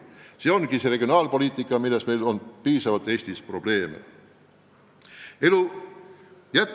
See ongi see regionaalpoliitika, mille elluviimisel on Eestis probleeme piisavalt.